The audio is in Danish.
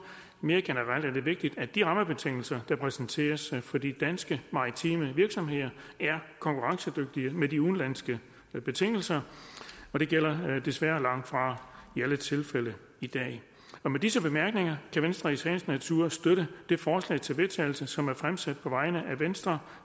mere generelt er det vigtigt at de rammebetingelser der præsenteres for de danske maritime virksomheder er konkurrencedygtige med de udenlandske betingelser det gælder desværre langtfra i alle tilfælde i dag med disse bemærkninger kan venstre i sagens natur støtte det forslag til vedtagelse som er fremsat på vegne af venstre